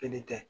Kelen tɛ